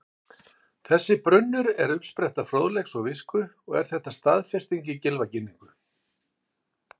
Þessi brunnur er uppspretta fróðleiks og visku og er þetta staðfest í Gylfaginningu: